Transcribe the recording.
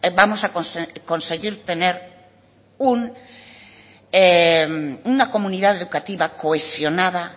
vamos a conseguir tener una comunidad educativa cohesionada